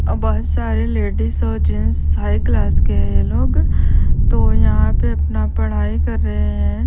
अब बहुत सारी लेडीज और जेंट्स हाई क्लास के हैं ये लोग तो यहाँ पे अपना पढाई कर रहे हैं ।